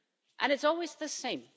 And it's always the same.